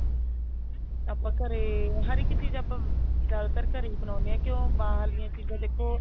ਆਪਾਂ ਘਰੇ ਹਰ ਇੱਕ ਚੀਜ਼ ਆਪਾਂ ਜਿਆਦਾਤਰ ਘਰੇ ਹੀ ਬਣਾਉਣੇ ਹਾਂ ਕਿਉਂ ਬਾਹਰਲੀਆਂ ਚੀਜ਼ਾਂ ਦੇਖੋ